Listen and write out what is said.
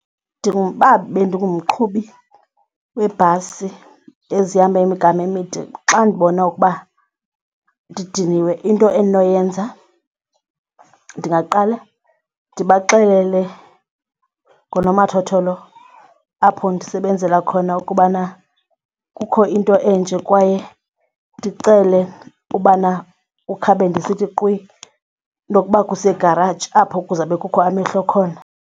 uba bendingumqhubi weebhasi ezihamba imigama emide xa ndibona ukuba ndidiniwe into endinoyenza ndingaqala ndibaxelele ngonomathotholo apho ndisebenzela khona ukubana kukho into enje kwaye ndicele ubana ukhabe ndisithi qhwi nokuba kusegaraji apho kuzawube kukho amehlo khona.